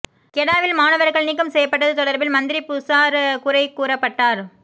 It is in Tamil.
கெடாவில் மாணவர்கள் நீக்கம் செய்யப்பட்டது தொடர்பில் மந்திரி புசார் குறை கூறப்பட்டார்